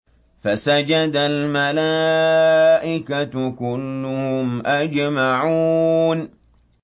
فَسَجَدَ الْمَلَائِكَةُ كُلُّهُمْ أَجْمَعُونَ